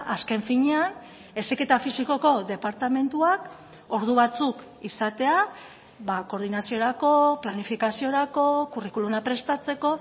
azken finean heziketa fisikoko departamentuak ordu batzuk izatea koordinaziorako planifikaziorako curriculuma prestatzeko